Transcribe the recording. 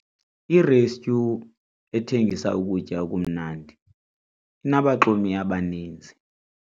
Irestyu ethengisa ukutya okumnandi inabaxumi abaninzi.